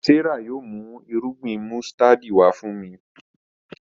Serah yóò mú Irúgbìn músítádì wá fún mí.